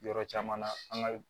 Yɔrɔ caman na an ka